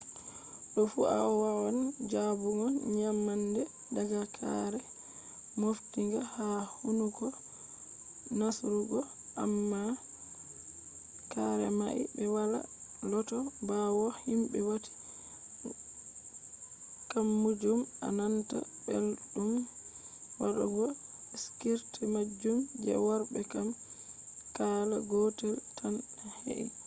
do fu awawan jabugo nyamande daga kare moftinga ha hunduko nastugo amma karemai be wala lota bawo himbe wati gammajum a nanta beldum wadugo skirts majum. je worbe kam kala gotel tan he'i